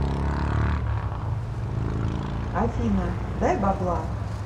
афина дай бабла